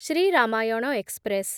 Shri Ramayana express